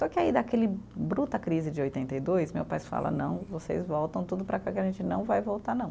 Só que aí, daquele bruta crise de oitenta e dois, meu pai fala, não, vocês voltam tudo para cá, que a gente não vai voltar, não.